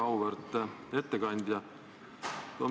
Väga auväärt ettekandja!